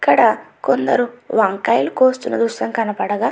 ఇక్కడ కొందరు వంకాయలు కోస్తున్న దృశ్యం కనపడాగా --